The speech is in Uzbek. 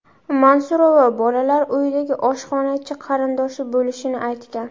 Mansurova Bolalar uyidagi oshxonachi qarindoshi bo‘lishini aytgan.